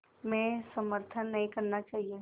में समर्थन नहीं करना चाहिए